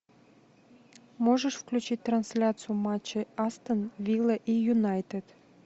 можешь включить трансляцию матча астон вилла и юнайтед